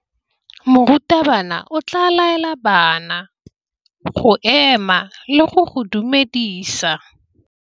Morutabana o tla laela bana go ema le go go dumedisa.